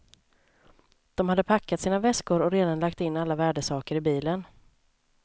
De hade packat sina väskor och redan lagt in alla värdesaker i bilen.